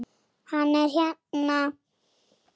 Hann er hérna